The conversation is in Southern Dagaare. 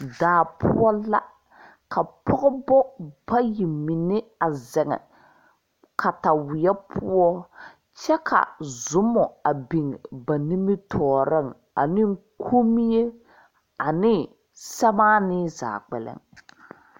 Daa poʋ la ka pɔgbʋ bayi menne a zeŋ kataweɛ poʋ kye ka zumo a biŋ ba nimitoɔriŋ ane konmie ane samaani zaa kpɛlɛŋ.